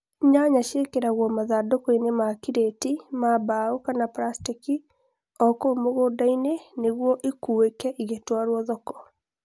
Nyanya ciekĩragwo mathandũkũinĩ ma kireti ma mbaũ kana plasteki o kũu mũgũndainĩ nĩguo ikuĩke igĩtwarwo thoko